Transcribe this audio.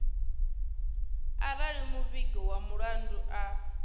arali muvhigi wa mulandu a